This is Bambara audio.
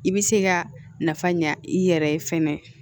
I bɛ se ka nafa ɲa i yɛrɛ ye fɛnɛ